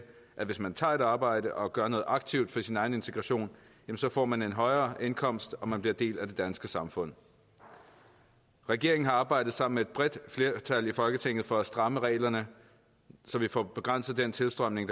at hvis man tager et arbejde og gør noget aktivt for sin egen integration så får man en højere indkomst og man bliver en del af det danske samfund regeringen har arbejdet sammen med et bredt flertal i folketinget for at stramme reglerne så vi får begrænset den tilstrømning